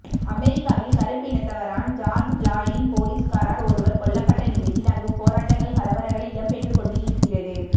அமெரிக்காவில் கருப்பினத்தவரான் ஜார்ஜ் பிளாய்டின் பொலிஸ்காரர் ஒருவரால் கொல்லப்பட்ட நிலையில் அங்கு போராட்டங்கள் கலவரங்கள் இடம்பெற்றுக்கொண்டு இருக்கிறது